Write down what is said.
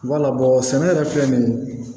Wala bɔn sɛnɛ yɛrɛ filɛ nin